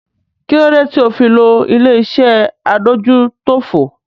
Kí ló dé tí o fi lo ilé-iṣẹ́ adójútòfò?